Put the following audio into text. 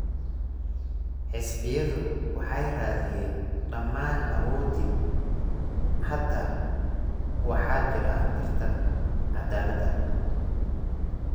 Xisbiyadu waxay raadiyeen dhammaan awooddii. Hadda waxaa jira tartan cadaalad ah.